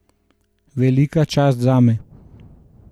Velika čast zame!